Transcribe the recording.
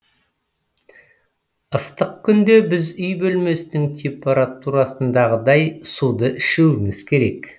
ыстық күнде біз үй бөлмесінің температурасындағыдай суды ішуіміз керек